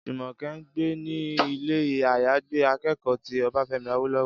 Jùmọ̀kẹ́ ń gbé ní ilé-àyágbé akẹ́kọ̀ọ́ ti Ọbáfẹ́mi Awólọ́wọ̀